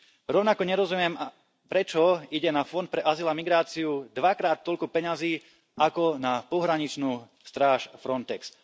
Rovnako nerozumiem, prečo ide na Fond pre azyl a migráciu dvakrát toľko peňazí ako na pohraničnú stráž Frontex.